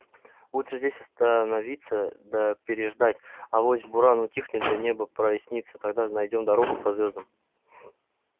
лучше здесь остановиться да переждать авось буран утихнет да небо прояснится тогда найдём дорогу по звёздам